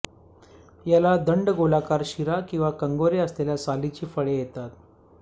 याला दंडगोलाकार शिरा किंवा कंगोरे असलेल्या सालीची फळे येतात